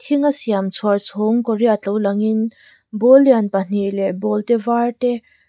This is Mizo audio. thinga siam chhuar chhawng kaw riat lo angin ball lian pahnih leh ball te var te--